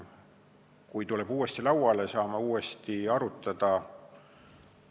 Kui see tuleb uuesti lauale, saame uuesti arutada.